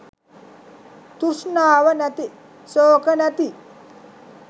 තෘෂ්ණාව නැති ශෝක නැති